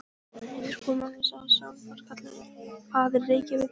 Skúli Magnússon, sá sem var kallaður faðir Reykjavíkur.